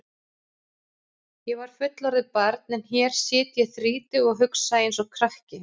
Ég var fullorðið barn en hér sit ég þrítug og hugsa einsog krakki.